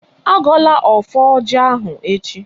Agọla ọfọ ọjị ahụ echi!